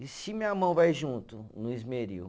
E se minha mão vai junto no esmeril?